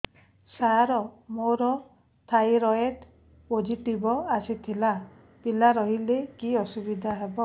ସାର ମୋର thyroid positive ଆସିଥିଲା ପିଲା ରହିଲେ କି ଅସୁବିଧା ହେବ